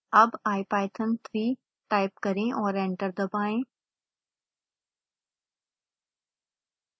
अब ipython3 type करें और एंटर दबाएं